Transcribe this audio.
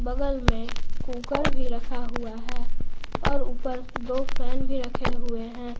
बगल में कुकर भी रखा हुआ है और ऊपर में दो फैन भी रखे हुए है।